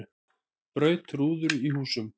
Braut rúður í húsum